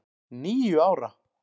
Níu ára!